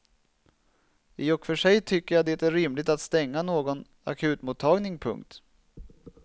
I och för sig tycker jag det är rimligt att stänga någon akutmottagning. punkt